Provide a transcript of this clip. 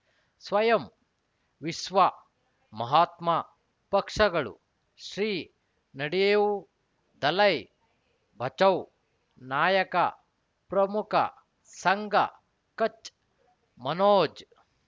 ಸ್ವಯಂ ವಿಶ್ವ ಮಹಾತ್ಮ ಪಕ್ಷಗಳು ಶ್ರೀ ನಡೆಯೂ ದಲೈ ಬಚೌ ನಾಯಕ ಪ್ರಮುಖ ಸಂಘ ಕಚ್ ಮನೋಜ್